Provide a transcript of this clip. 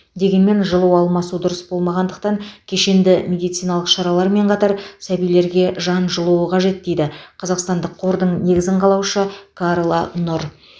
дегенмен жылу алмасу дұрыс болмағандықтан кешенді медициналық шаралармен қатар сәбилерге жан жылуы қажет дейді қазақстандық қордың негізін қалаушы карла нұр